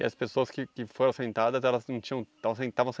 E as pessoas que que foram assentadas, elas não tinham estavam sem estavam sem